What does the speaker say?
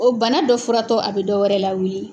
O bana dɔ furatɔ a bɛ dɔwɛrɛ lawuli.